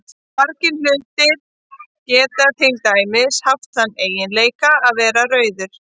Margir hlutir geta til dæmis haft þann eiginleika að vera rauður.